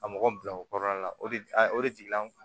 Ka mɔgɔ bila o kɔrɔ la la o de o de jiginna